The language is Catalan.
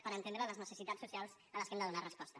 per entendre les necessitats socials a què hem de donar resposta